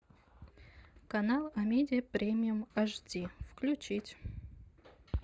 канал амедиа премиум эйч ди включить